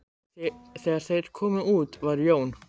Þegar þeir komu út var Jón